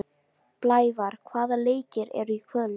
Blævar, hvaða leikir eru í kvöld?